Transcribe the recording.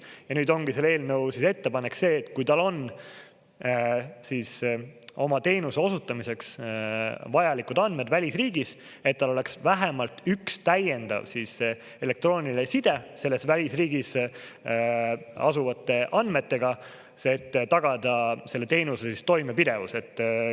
Ja nüüd ongi selle eelnõu ettepanek see, et kui tal on oma teenuse osutamiseks vajalikud andmed välisriigis, et tal oleks vähemalt üks täiendav elektrooniline side selles välisriigis asuvate andmetega, et tagada selle teenuse toimepidevus.